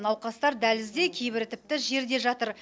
науқастар дәлізде кейбірі тіпті жерде жатыр